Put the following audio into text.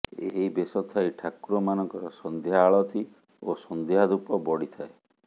ଏହି ବେଶ ଥାଇ ଠାକୁରମାନଙ୍କର ସଂଧ୍ୟା ଆଳତି ଓ ସଂଧ୍ୟା ଧୂପ ବଢ଼ିଥାଏ